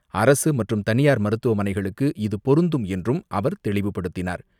அரசுமற்றும் தனியார் மருத்துவமனைகளுக்கு இது பொருந்தும் என்றும் அவர் தெளிவுப்படுத்தினார்.